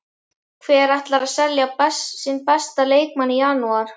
Hver ætlar að selja sinn besta leikmann í janúar?